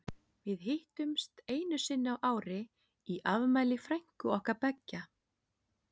Við hittumst einu sinni á ári í afmæli frænku okkar beggja.